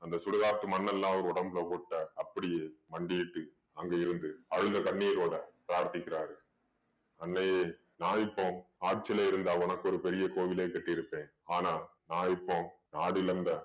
அந்த சுடுகாட்டு மண்ணெல்லாம் அவர் உடம்புல ஒட்ட அப்படியே மண்டியிட்டு அங்கே இருந்து அழுத கண்ணீரோட பிரார்த்திக்கிறாரு அன்னையே நா இப்போ ஆட்சியிலே இருந்தா உனக்கு ஒரு பெரிய கோவிலே கட்டியிருப்பேன் ஆனா நான் இப்போ நாடு இழந்த